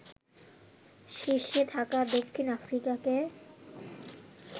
শীর্ষে থাকা দক্ষিণ আফ্রিকাকে